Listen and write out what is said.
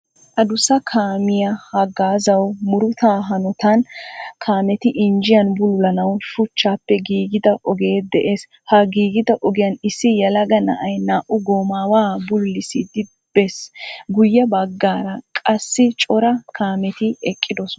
Aduussa kammiyaa hagazzawu muruta hanotan kammeti injjiyan bullulanawu shuchchappe gigida ogee de^ees. Ha gigiida ogiyan issi yeelaga na^ayi naa^u gomawa bulullisidi beesi. Guuye bagaara qaasicora kaametti eqiidosona.